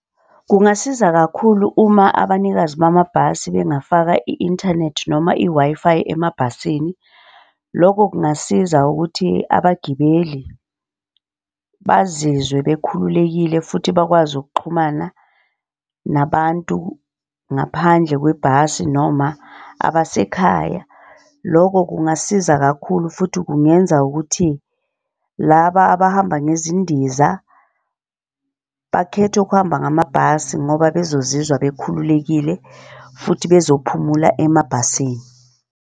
Kungasiza kakhulu uma abanikazi bamabhasi bengafaka i-inthanethi noma i-Wi-Fi emabhasini. Lokho kungasiza ukuthi abagibeli bazizwe bekhululekile futhi bakwazi ukuxhumana nabantu ngaphandle kwebhasi noma abasekhaya. Loko kungasiza kakhulu futhi kungenza ukuthi laba abahamba ngezindiza bakhethe ukuhamba ngamabhasi ngoba bezozizwa bekhululekile futhi bezophumula emabhasini.